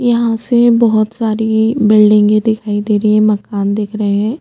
यहाँ से बोहोत सारी बिल्डींगे दिखाई दे रही है मकान दिख रहै है।